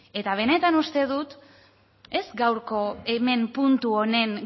eta benetan uste dut ez gaurko hemen puntu honen